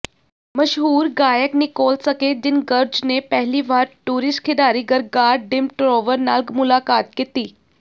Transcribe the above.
ਮਸ਼ਹੂਰ ਗਾਇਕ Nicole Scherzinger ਨੇ ਪਹਿਲੀ ਵਾਰ ਟੂਰਿਸਟ ਖਿਡਾਰੀ ਗਰਗਾਰ ਡਿਮਟਰੋਵਰ ਨਾਲ ਮੁਲਾਕਾਤ ਕੀਤੀ